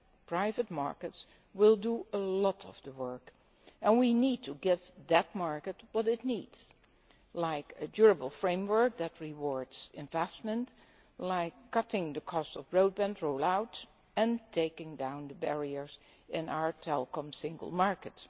Private markets will do a lot of the work, and we need to give them what they need, such as a durable framework that rewards investment, and cutting the cost of broadband roll out and taking down the barriers in our telecoms single market.